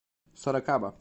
сорокаба